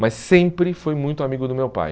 Mas sempre foi muito amigo do meu pai.